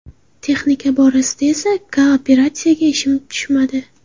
Texnika borasida esa kooperatsiyaga ishim tushmadi.